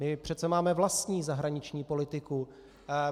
My přece máme vlastní zahraniční politiku.